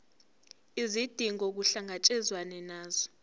izidingo kuhlangatshezwane nazo